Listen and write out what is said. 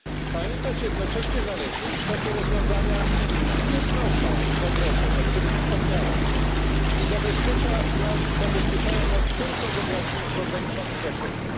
Pamiętać jednocześnie należy, iż takie rozwiązania nie znoszą zagrożeń, o których wspomniałem i zabezpieczają nas tylko w ograniczonym zakresie.